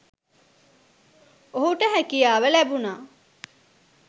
ඔහුට හැකියාව ලැබුණා